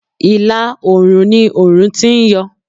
Ìlà òrùn ni òrùn ti ń yọ.